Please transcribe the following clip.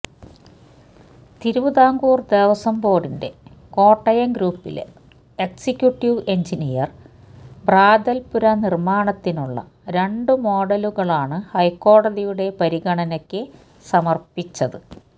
തിരുവിതാംകൂര് ദേവസ്വം ബോര്ഡിന്റെ കോട്ടയം ഗ്രൂപ്പിലെ executive engineer പ്രാതല് പുര നിര്മ്മാണത്തിനുള്ള രണ്ടു മോഡലുകളാണ് ഹൈക്കോടതിയുടെ പരിഗണനയ്ക്കു സമര്പ്പിച്ചത്